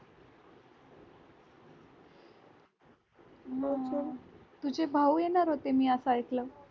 तुझे भाऊ येणार होते मी असं ऐकलं